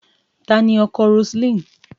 Ta ni ọkọ Roseline?